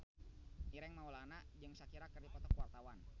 Ireng Maulana jeung Shakira keur dipoto ku wartawan